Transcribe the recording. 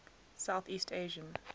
south east asian